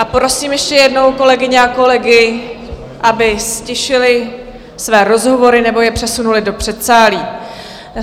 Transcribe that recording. A prosím ještě jednou kolegyně a kolegy, aby ztišili své rozhovory nebo je přesunuli do předsálí.